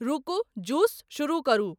रूकू juice शुरू करु